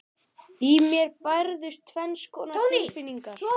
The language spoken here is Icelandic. Í mér bærðust tvenns konar tilfinningar.